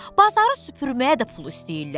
Bazarı süpürməyə də pul istəyirlər.